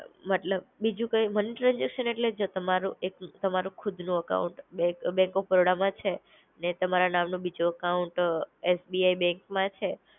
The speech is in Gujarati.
મતલબ બીજું કઈ, મની ટ્રાન્સેકશન એટલે જો તમારું એક, તમારું ખુદનું અકાઉન્ટ બેંક બેંક ઓફ બરોડામાં છે, તમારા નામ નું બીજુ અકાઉન્ટ અ એસબીઆઈ બેંકમાં છે